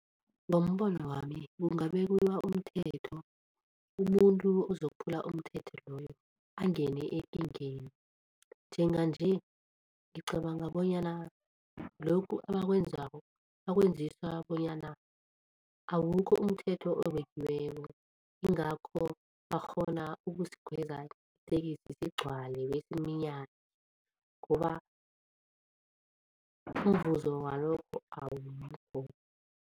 Ngombono wami kungabekiwa umthetho, umuntu ozokuphula umthetho loyo angene ekingeni. Njenganje ngicabanga bonyana lokhu abakwenzako bakwenziswa bonyana awukho umthetho obekiweko ingakho bakghona ukusikhweza itekisi sigcwale besiminyane ngoba umvuzo walokho awukho.